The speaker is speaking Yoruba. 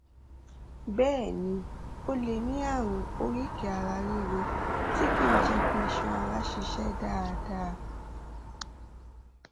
síwájú sí i o um lè gbìyànjú láti lóyún um láàárín ọjọ mẹwàá sí méjìdínlógún